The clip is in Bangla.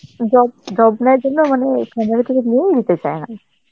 job~ job নাই জন্য মানে family থাকে বিয়েও হইতে চায়না